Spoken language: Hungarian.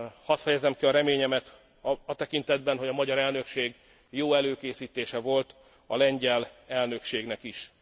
Hadd fejezzem ki a reményemet a tekintetben, hogy a magyar elnökség jó előkészítése volt a lengyel elnökségnek is.